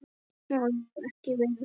Má ég ekki vera svona?